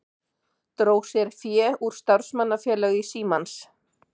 Dró sér fé úr starfsmannafélagi Símans